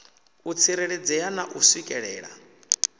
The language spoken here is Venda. u tsireledzea na u swikelelea